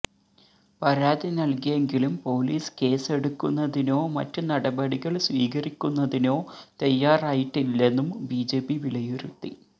പരാതി നല്കിയെങ്കിലും പോലീസ് കേസ്സെടുക്കുന്നതിനോ മറ്റ് നടപടികള് സ്വീകരിക്കുന്നതിനോ തയ്യാറായിട്ടില്ലെന്നും ബിജെപി വിലയിരുത്തി